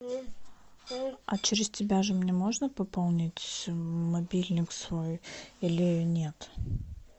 а через тебя же мне можно пополнить мобильник свой или нет